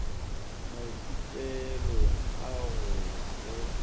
maithutelong a go ya go